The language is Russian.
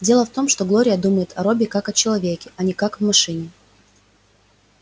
дело в том что глория думает о робби как о человеке а не как о машине